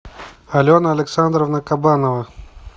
алена александровна кабанова